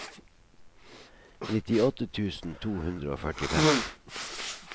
nittiåtte tusen to hundre og førtifem